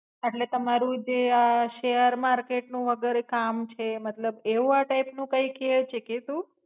એટલ તમારું જે આ સેર મર્કેટ નુ અગર કામ છે મતલબ એવું આ ટાય્પ નુ કેવું છેકે?